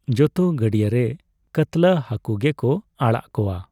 ᱡᱚᱛᱚ ᱜᱟᱹᱰᱭᱟᱹᱨᱮ ᱠᱟᱛᱞᱟ ᱦᱟᱠᱳ ᱜᱮᱠᱚ ᱟᱲᱟᱜ ᱠᱚᱣᱟ